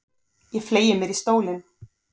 Ég fleygi mér í stólinn.